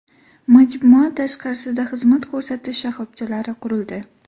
Majmua tashqarisida xizmat ko‘rsatish shoxobchalari qurildi.